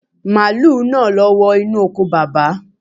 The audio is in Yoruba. Màálù náà ló wọ inú oko Bàbá.